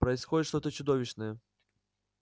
происходит что-то чудовищное